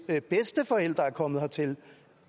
bedsteforældre er kommet hertil